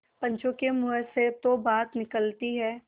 पंचों के मुँह से जो बात निकलती है